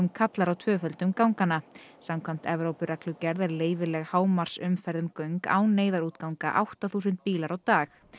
kallar á tvöföldun ganganna samkvæmt Evrópureglugerð er leyfileg hámarksumferð um göng án neyðarútganga átta þúsund bílar á dag